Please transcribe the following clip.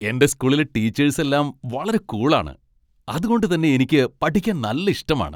എന്റെ സ്കൂളിലെ ടീച്ചേസ് എല്ലാം വളരെ കൂൾ ആണ്, അതുകൊണ്ട് തന്നെ എനിക്ക് പഠിക്കാൻ നല്ല ഇഷ്ടമാണ്.